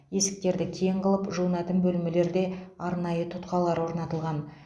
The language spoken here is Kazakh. есіктерді кең қылып жуынатын бөлмелерде арнайы тұтқалар орнатылған